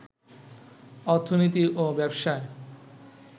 অর্থনীতি ও ব্যবসায়